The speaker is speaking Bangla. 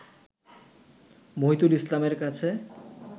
মহিতুল ইসলামের কাছে